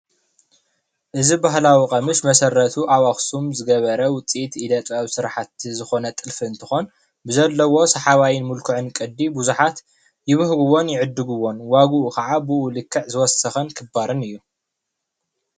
እዚ ባህላዊ ቐሚሽ መሰረቱ ኣብ ኣኽሱም ዝገበረ ውፅኢት ኢደ-ጥበብ ስራሕቲ ዝኾነ እንትኾን ብዘለዎ ሰሓባይን ምልክዑን ቅዲ ብዙሓት ይብህግዎን የዕድግዎን ዋጉኡ ከዓ ብኡ ልክዕ ዝወሰኸን ክባርን እዩ፡፡